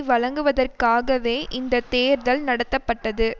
வழங்குவதற்காகவே இந்த தேர்தல் நடத்தப்பட்டது